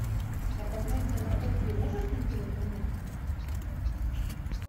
а проклятие аннабель три можешь найти в интернете